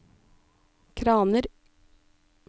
kraner